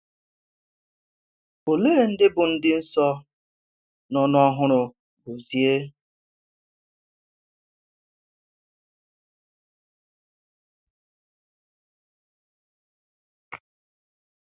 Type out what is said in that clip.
Òlè̀ ndị bụ̀ ndị nsọ nọ n’ọ́hụ́rụ́ Gozie?